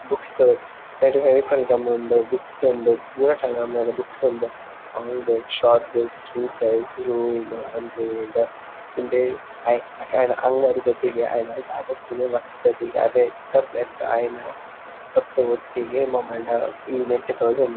Book store ನೆಟೆ Fevicol gum ಉಂಡು books ಉಂಡು ಪೂರ ತರಹದಲ ಬುಕ್ಸ್ ಉಂಡು ಲಾಂಗ್ ಬುಕ್ ಶಾರ್ಟ್ ಬುಕ್ ಕ್ಯೂ ಸೈಜ್ ರೂಲ್ಡ್ ಅನೃಲೆಡ್ ಇಡೆ ಐ ಐನ ಅಂಗಡಿದೊಟಿಗೆ ಐನ ದಾಧ ಉಪ್ಪುಂಡು ಈ ನೆಟ್ ತೋಜೊಂದುಂಡು.